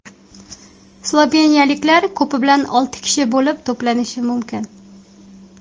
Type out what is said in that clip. Sloveniyaliklar ko‘pi bilan olti kishi bo‘lib to‘planishi mumkin.